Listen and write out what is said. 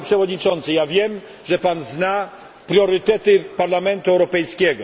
Panie Przewodniczący, ja wiem, że Pan zna priorytety Parlamentu Europejskiego.